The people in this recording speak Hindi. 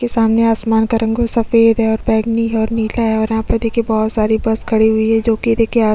के सामने आसमान का रंग सफ़ेद है और बैगनी है और नीला है और यहाँ पे देखिए बहोत सारी बस खड़ी हुई है जो कि देखिए आस--